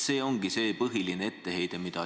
See ongi see põhiline etteheide.